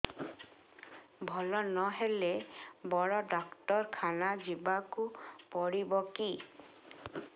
ଭଲ ନହେଲେ ବଡ ଡାକ୍ତର ଖାନା ଯିବା କୁ ପଡିବକି